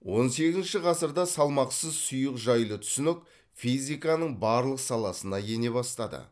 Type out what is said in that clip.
он сегізінші ғасырда салмақсыз сұйық жайлы түсінік физиканың барлық саласына ене бастады